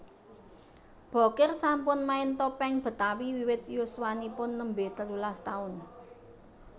Bokir sampun main topeng Betawi wiwit yuswanipun nembé telulas taun